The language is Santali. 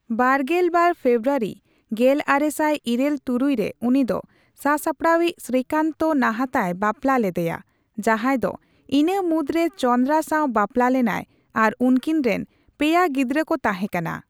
ᱵᱟᱨᱜᱮᱞᱵᱟᱨ ᱯᱷᱮᱵᱽᱨᱣᱟᱹᱨᱤ ᱜᱮᱞᱟᱨᱮᱥᱟᱭ ᱤᱨᱟᱞ ᱛᱩᱨᱩᱭ ᱨᱮ, ᱩᱱᱤ ᱫᱚ ᱥᱟᱥᱟᱯᱲᱟᱣᱤᱡ ᱥᱨᱤᱠᱟᱱᱛᱚ ᱱᱟᱦᱟᱛᱟᱭ ᱵᱟᱯᱞᱟ ᱞᱮᱫᱮᱭᱟ, ᱡᱟᱦᱟᱸᱭᱫᱚ ᱤᱱᱟᱹ ᱢᱩᱫᱽᱨᱮ ᱪᱚᱱᱫᱨᱟ ᱥᱟᱣ ᱵᱟᱯᱞᱟ ᱞᱮᱱᱟᱭ ᱟᱨ ᱩᱱᱠᱤᱱᱨᱮᱱ ᱯᱮᱭᱟ ᱜᱤᱫᱽᱨᱟᱹ ᱠᱚ ᱛᱟᱦᱮᱸ ᱠᱟᱱᱟ ᱾